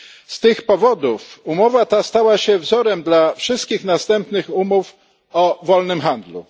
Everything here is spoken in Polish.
Z tych powodów umowa ta stała się wzorem dla wszystkich następnych umów o wolnym handlu.